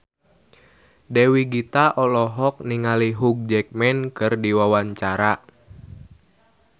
Dewi Gita olohok ningali Hugh Jackman keur diwawancara